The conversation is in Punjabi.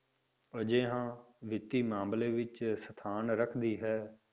ਅਜਿਹਾ ਵਿੱਤੀ ਮਾਮਲੇ ਵਿੱਚ ਸਥਾਨ ਰੱਖਦੀ ਹੈ?